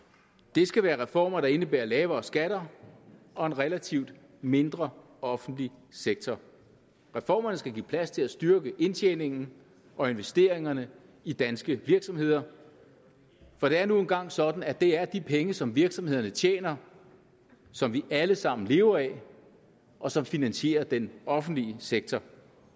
det skal være reformer der indebærer lavere skatter og en relativt mindre offentlig sektor reformerne skal give plads til at styrke indtjeningen og investeringerne i danske virksomheder for det er nu engang sådan at det er de penge som virksomhederne tjener som vi alle sammen lever af og som finansierer den offentlige sektor